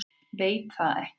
Veit það ekki.